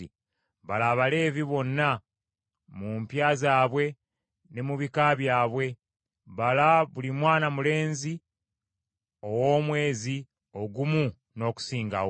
“Bala Abaleevi bonna mu mpya zaabwe ne mu bika byabwe . Bala buli mwana mulenzi ow’omwezi ogumu n’okusingawo.”